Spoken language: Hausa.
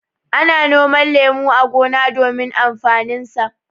Ana noman lemu a gona domin amfaninsa.